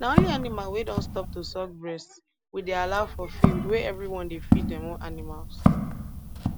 na only animal wey don stop to suck breast we dey allow for field wey everyone dey feed dem own animals